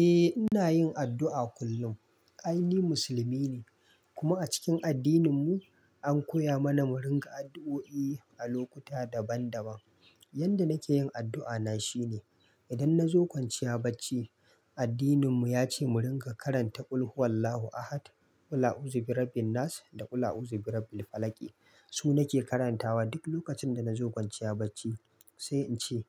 Eh ina yin addu'a kullum. Kai ni musulmi ne kuma a cikin addininmu an koya mana mu ringa addu'o'i a lokuta daban daban. Yanda nake yin addu'a na shine idan na zo kwanciya bacci, addininmu ya ce mu ringa karanta "Qul huwallahu ahad, qul a'uzu birabbinnas da qul a'uzu birabbil falaq". Su nake karantawa duk lokacin da na zo kwanciya bacci sai in ce;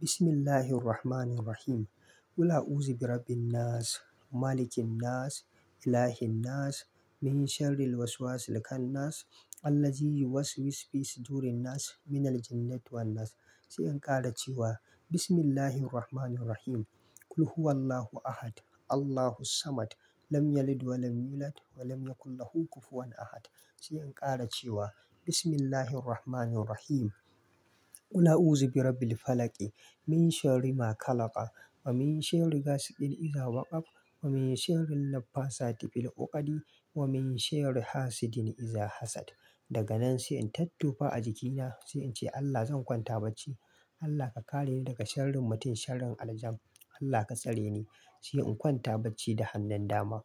Bismillahirrahmanirrahiim, qul a'uzu birabbinnas, malikinnas, ilahinnas, min sharril waswasil khannas, allazi yuwas wisfisu durinnas, minal jinnati wannas". Sai in ƙara cewa Bismillahirrahmanirrahiim, qul huwallahu ahad, Allahus samad, lam yalid wa lam yulad, wa lam yakulhu kufuwan ahad". Sai in ƙara cewa Bismillahirrahmanirrahiim, qul a'uzu birabbil falaq, min sharrima khalaq, wa min sharrigasiqin iza waqab, wa min sharrin naffasati fil uqadi, wa min sharri hasidin iza hasad". Daga nan sai in tattufa a jikina sai in ce Allah zan kwanta bacci. Allah ka kareni daga sharrin mutum, sharrin aljan. Allah ka tsare ni sai in kwanta bacci da hannun dama.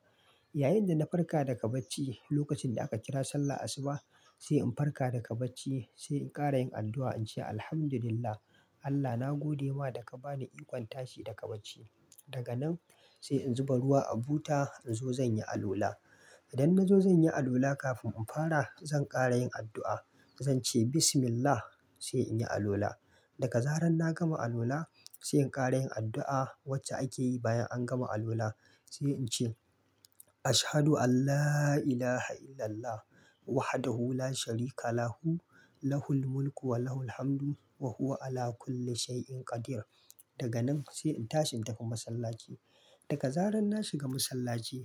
Yayinda na farka daga bacci lokacin da aka kira sallah asuba, sai in farka daga bacci sai in ƙara yin addu'a in ce Alhamdulillah Allah na gode ma daga ba ni ikon tashi daga bacci. Daga nan sai in zuba ruwa a buta in zo zan yi alola. Idan na zo zan yi alola kafin in fara zan ƙara yin addu'a. Zan ce Bismillah sai in yi alola. Daga zarar na gama alola sai in ƙara yin addu'a wacce ake yi bayan an gama alola sai in ce "Ashadu alla ilaaha illallah, wahdahu la sharika lahu, lahul mulku wa lahul hamdu, wa huwa 'ala kulli shai'in qadir". Daga nan sai in tashi in tafi masallaci. Daga zarar na shiga masallaci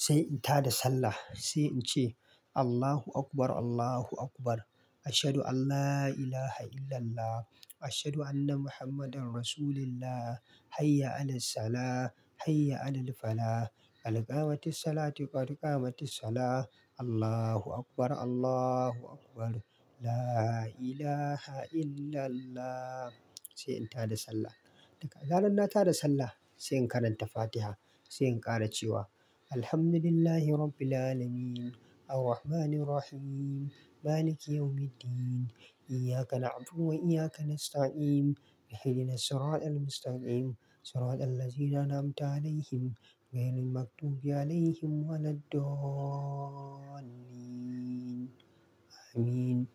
sai in ta da sallah sai in ce "Allahu akbar, Allahu akbar, ashadu alla ilaaha illallah, ashadu anna Muhammadan rasulullah, hayya 'alassalah, hayya 'alal falah, al-qaa'mati ssalah qaad qamatti ssalah, Allahu akbar, Allahu akbar, laa ilaaha illallah". Sai in ta da sallah. Daga zarar na ta da sallah sai in karanta Fatiha sai in ƙara cewa "Alhamdulillahi rabbil 'alamin, arrahmanirrahim, maliki yawmi ddin, iyyaka na'budu wa iyyaka nasta'in, ihdinas-siratel mustaqim, siratel ladhina an'amta 'alaihim, ghairil maghdubi 'alaihim wa laddallin, amin".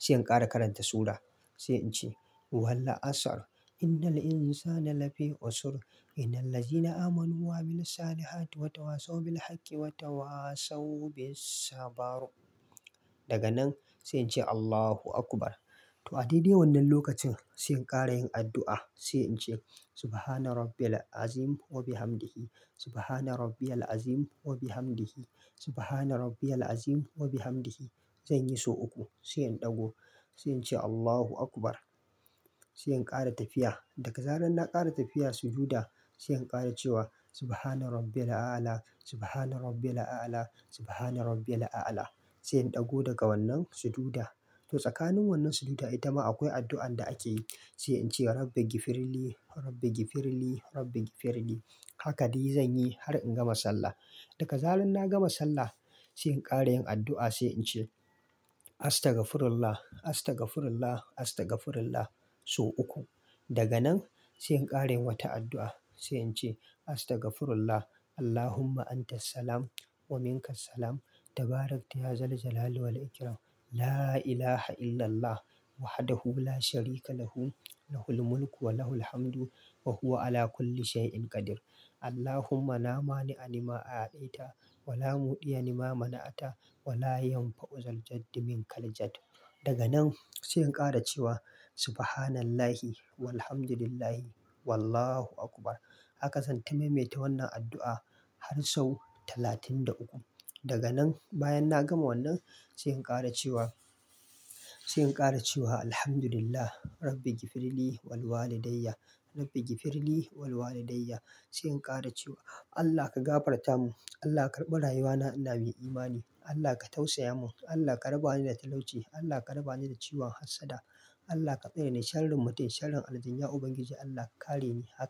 Sai in ƙara karanta sura sai in ce "Wal 'asr, innal insana la fi khusr, innal ladhina amanu wa 'amilussalihati watawasaw bil haqqi watawasaw bis sabr". Daga nan sai in ce Allahu akbar. To a dadai wannan lokacin sai in ƙara yin addu'a sai in ce "Subhana rabbiyal 'azimi wa bihamdihi, subhana rabbiyal 'azimi wa bihamdihi, subhana rabbiyal 'azimi wa bihamdihi". Zan yi sau uku sai in ɗago sai in ce Allahu akbar sai in ƙara tafiya. Daga zarar na ƙara tafiya suju'da sai in ƙara cewa "Subhana rabbiyal a'ala, subhana rabbiyal a'ala, subhana rabbiyal a'ala". Sai in ɗago daga wannan suju'da. To tsakanin wannan suju'da ita ma akwai addu'an da ake yi sai in ce "Rabbighfirli, rabbighfirli, rabbighfirli". Haka dai zan yi har in gama sallah. Daga zarar na gama sallah sai in ƙara yin addu'a sai in ce "Astaghfirullah, astaghfirullah, astaghfirullah" sau uku. Daga nan sai in ƙara wata addu'a sai in ce "Astaghfirullah, Allahumma antassalam wa minka assalam, tabarakta wa ta'ala wa takadadasta wa ta'ala wa takabbarata wa ta'ala, laa ilaaha illallah, wahdahu la sharika lahu, lahul mulku wa lahul hamdu, wa huwa 'ala kulli shai'in qadir. Allahumma laa maani 'a limaa a'taita, wa laa mu'diya lima mana'ta, wa laa yanfa'u zaljaddi minkal jaddu". Daga nan sai in ƙara cewa "Subhanallahi walhamdulillah, wallahu akbar". Haka zan taimaita wannan addu'a har sau talatin da uku. Daga nan bayan na gama wannan sai in ƙara cewa, sai in ƙara cewa "Alhamdulillah, rabbighfirli wal walidaiya, rabbighfirli wal walidaiya". Sai in ƙara cewa Allah ka gafarta mu, Allah ka karɓa rayuwa na ina mai imani, Allah ka tausaya mu, Allah ka raba ni da talauci, Allah ka raba ni da ciwan hassada, Allah ka tsare ni sharrin mutum, sharrin aljaniya ubangiji Allah ka kare ni haka.